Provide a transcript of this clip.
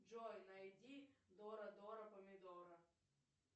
джой найди дора дора помидора